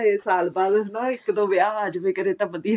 ਇਹ ਸਾਲ ਬਾਅਦ ਹਨਾ ਇੱਕ ਦੋ ਵਿਆਹ ਆ ਜਾਵੇ ਕਦੇ ਤਾਂ ਵਧੀਆ